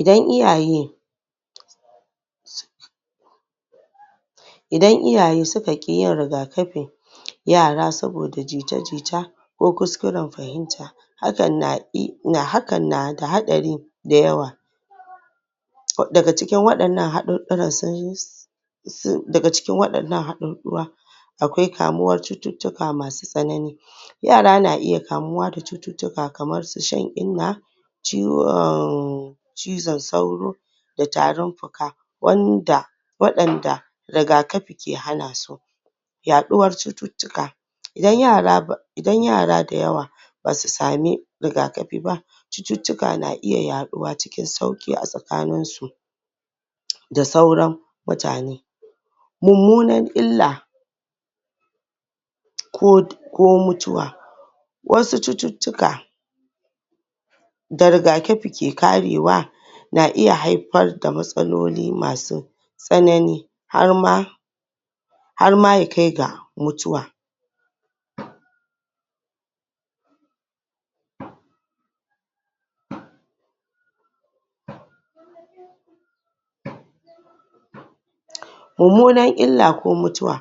Idan iyaye Idan iyaye suka ƙi yin riga-kafin yara saboda jita jita ko kuskuren fahimta hakan na da haɗari dayawa daga cikin wadannan haɗuɗɗura sun haɗa daga cikin wadannan haɗuɗɗura sun haɗa akwai kamuwar cututtuka masu tsanani yara na iya kamuwa da cututtuka kamarsu shan inna ciwon cizon sauro da tarin fuka wanda waɗanda rigakafi ke hanasu yaɗuwar cututtuka idan yara Idan yara dayawa basu sami rigaki bah cututtuka na iya yaɗuwa cikin sauki a tsakaninsu da sauran mutane mummunan illa ko mutuwa wasu cututtuka da riga-kafi ke karewa na iya haifarda matsaloli masu tsanani harma harma ya kai ga mutuwa mummunar ila ko mutuwa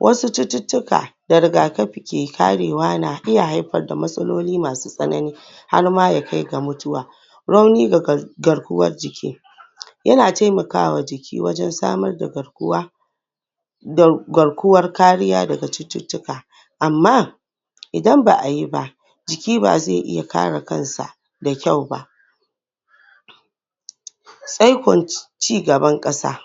wasu cututtuka da riga-kafi ke karewa na iya haifarda matsaloli masu tsanani Har ma ya kai ga mutuwa Rauni ga garkuwan jiki yana taimakawa jiki wajen samarda garkuwar da garkuwar kariya daga cututtuka amma idan ba ayi bah jiki bazai iya kare kansa da kyau bah ba tsaikon cigaban kasa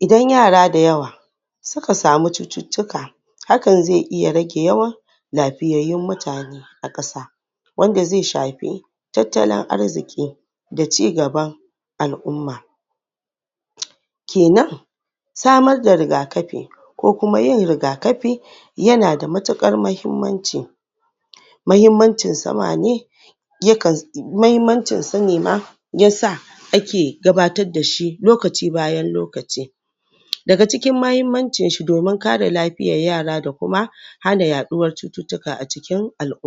idan yara dayawa suka sami cuttutukka hakan zai iya rage lafiyayyun mutane a ƙasa wanda zai shafi tattalin Arziki da cigaban al'umma kenan samar da rigafi Kuma yin riga-kafi yanada matuƙar mahimmanci, mahimmancin sama ne yakan mahimmancin su ne ma yasa ake gabatar dashi lokaci bayan lokaci daga cikin mahimmanci shi domin kare lafiyar yara da Kuma hana yaɗuwar cututtuka a cikin alʼumma